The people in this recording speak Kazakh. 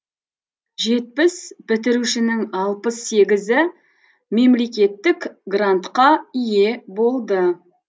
жетпіс бітірушінің алпыс сегізі мемлекеттік грантқа ие болды